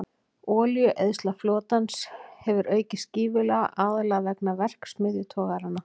Olíueyðsla flotans hefur aukist gífurlega, aðallega vegna verksmiðjutogaranna.